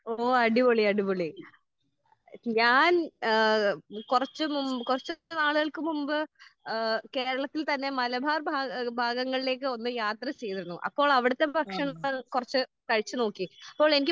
ഓഹ് അടിപൊളി അടിപൊളി. ഞാൻ ഏഹ് കുറച്ച് കുറച്ചു നാളുകൾക്ക് മുമ്പ് ഏഹ് കേരളത്തിൽ തന്നെ മലബാർ ഭാഗ ഏഹ് ഭാഗങ്ങളിലേക്ക് ഒന്ന് യാത്ര ചെയ്തിരുന്നു. അപ്പോൾ അവിടുത്തെ ഭക്ഷണം കുറച്ചു കഴിച്ചു നോക്കി. അപ്പോ എനിക്ക്